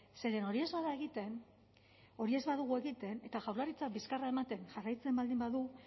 zeren hori ez bada egiten hori ez badugu egiten eta jaurlaritzak bizkarra ematen jarraitzen baldin badu